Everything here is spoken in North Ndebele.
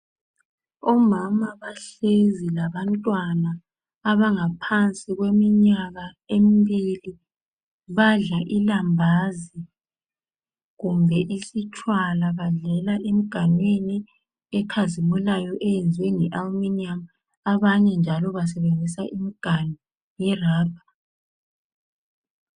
Omama bahlezi labantwana abangaphansi kweminyaka emibili badla ilambazi kumbe isitshwala , badlela emiganwini ekhazimulayo eyenziwe nge aluminium, abanye njalo basebenzisa imiganu yerabha.